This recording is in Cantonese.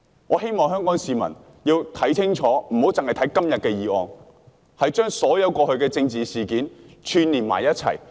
我希望香港市民要看清楚，不要單看今天的議案，要將過去所有政治事件串連在一起。